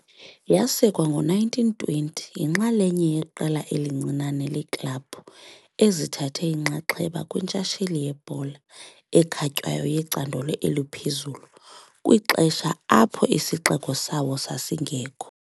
Yasekwa ngo-1920, yinxalenye yeqela elincinane leeklabhu ezithathe inxaxheba kwintshatsheli yebhola ekhatywayo yecandelo eliphezulu kwixesha apho isixeko sabo sasingekho